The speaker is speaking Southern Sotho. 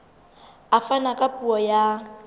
a fana ka puo ya